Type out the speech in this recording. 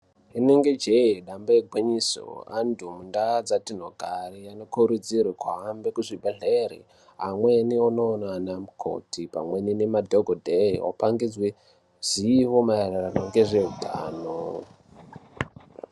Inenge jee dambe igwinyiso. Antu mundaa dzatinogare anokurudzirwe kuhambe kuzvibhehlere amweni onoona anamukoti pamweni ngemadhokodheya opangidzwe zivo maererano ngezveutano.